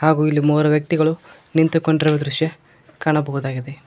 ಹಾಗೂ ಇಲ್ಲಿ ಮೂವರು ವ್ಯಕ್ತಿಗಳು ನಿಂತುಕೊಂಡಿರುವ ದೃಶ್ಯ ಕಾಣಬಹುದಾಗಿದೆ.